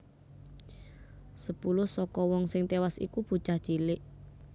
Sepuluh saka wong sing téwas iku bocah cilik